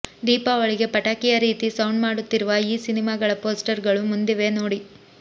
ದೀಪಾವಳಿಗೆ ಪಟಾಕಿಯ ರೀತಿ ಸೌಂಡ್ ಮಾಡುತ್ತಿರುವ ಈ ಸಿನಿಮಾಗಳ ಪೋಸ್ಟರ್ ಗಳು ಮುಂದಿವೆ ನೋಡಿ